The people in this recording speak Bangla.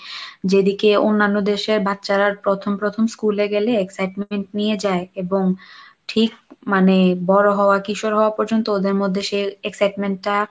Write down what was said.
যেদিকে অন্যান্য দেশের বাচ্চারা প্রথম প্রথম school গেলে excitement নিয়ে যায় এবং ঠিক মানে বড় হওয়া কিশোর হওয়া পর্যন্ত ওদের মধ্যে সেই excitement টা